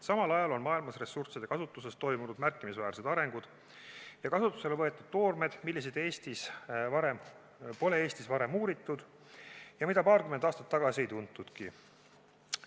Samal ajal on maailmas ressursside kasutuses toimunud märkimisväärsed arengud ja kasutusele võetud toormed, mida Eestis pole varem uuritud ja mida paarkümmend aastat tagasi ei tuntudki.